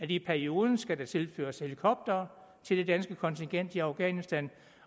i perioden skal tilføres helikoptere til det danske kontingent i afghanistan